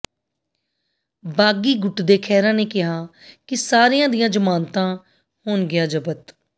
ਬਾਗੀ ਗੁੱਟ ਦੇ ਖਹਿਰਾ ਨੇ ਕਿਹਾ ਕਿ ਸਾਰਿਆਂ ਦੀਆਂ ਜ਼ਮਾਨਤਾਂ ਹੋਣਗੀਆਂ ਜ਼ਬਤ